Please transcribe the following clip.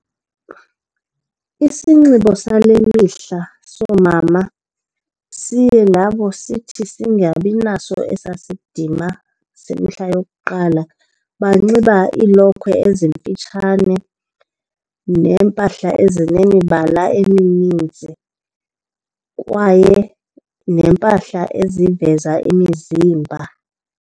Isinxibo sale mihla soomama siye nabo sithi singabinaso esaa sidima semihla yokuqala. Banxiba iilokhwe ezimfutshane neempahla ezinemibala emininzi kwaye neempahla eziveza imizimba.